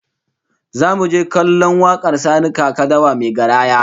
Zamu je kallon wakar Sani Kaka Dawa mai garaya